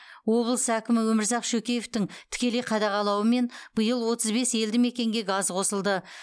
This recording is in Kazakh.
облыс әкімі өмірзақ шөкеевтің тікелей қадағалауымен биыл отыз бес елді мекенге газ қосылды